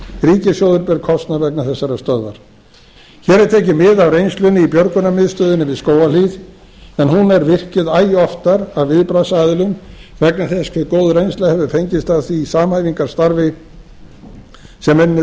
ríkissjóður ber kostnað vegna þessarar stöðvar hér er tekið mið af reynslunni í björgunarmiðstöðinni við skógarhlíð en hún er virkjuð æ oftar af viðbragðsaðilum vegna þess hve góð reynsla hefur fengist af því samhæfingarstarfi sem enn